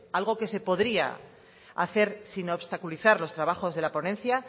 algo que se podría hacer sin obstaculizar los trabajos de la ponencia